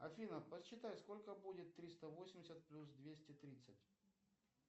афина посчитай сколько будет триста восемьдесят плюс двести тридцать